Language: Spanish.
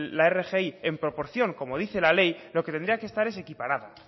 la rgi en proporción como dice la ley lo que tendría que estar es equiparada